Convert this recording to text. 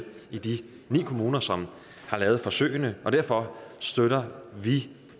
i de ni kommuner som har lavet forsøgene og derfor støtter vi